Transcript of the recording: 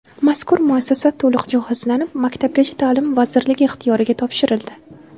Mazkur muassasa to‘liq jihozlanib, Maktabgacha ta’lim vazirligi ixtiyoriga topshirildi.